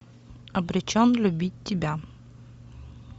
обречен любить тебя